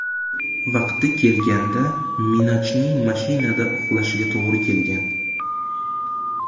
Vaqti kelganda Minajning mashinada uxlashiga to‘g‘ri kelgan.